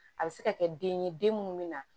A bɛ se ka kɛ den ye den minnu bɛ na